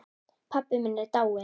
Pabbi minn er dáinn.